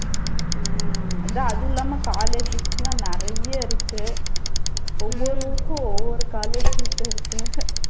உம் அதான் அதுவும் இல்லாம colleges எல்லாம் நிறைய இருக்கு ஒவ்வொருவருக்கும் ஒவ்வொரு colleges இருக்கு.